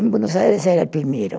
Em Buenos Aires, era primeiro.